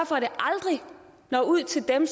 for at det aldrig når ud til dem